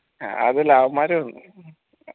അത് അവമ്മാര് വന്നു